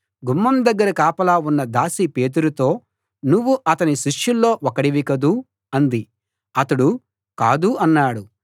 గుమ్మం దగ్గర కాపలా ఉన్న దాసి పేతురుతో నువ్వు ఆతని శిష్యుల్లో ఒకడివి కదూ అంది అతడు కాదు అన్నాడు